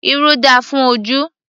Irú dára fún ojú